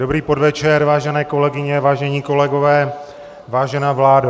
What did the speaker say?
Dobrý podvečer, vážené kolegyně, vážení kolegové, vážená vládo.